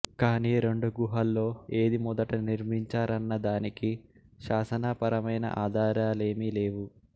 కానీ రెండు గుహల్లో ఏది మొదట నిర్మించారన్న దానికి శాసనా పరమైన ఆధారాలేమీ లేవు